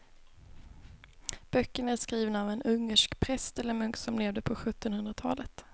Böckerna är skrivna av en ungersk präst eller munk som levde på sjuttonhundratalet.